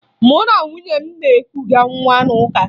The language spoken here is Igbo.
Mụ na nwunye m na-ekuga nwa n'ụka